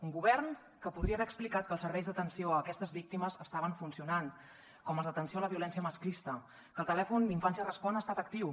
un govern que podria haver explicat que els serveis d’atenció a aquestes víctimes estaven funcionant com els d’atenció a la violència masclista que el telèfon infància respon ha estat actiu